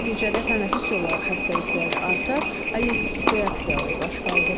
Nəticədə tənəffüs yolları xəstəlikləri artar, allergik reaksiyalar baş qaldırar.